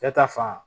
Cɛ ta fan